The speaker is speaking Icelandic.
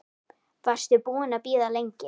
Varstu búin að bíða lengi?